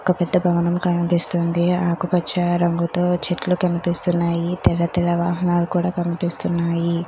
ఒక పెద్ద భవనం కనిపిస్తుంది. ఆకుపచ్చ రంగుతో చెట్లు కనిపిస్తున్నాయి. తెల్ల తెల్ల వాహనాలు కూడా కనిపిస్తున్నాయి.